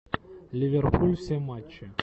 ливерпуль все матчи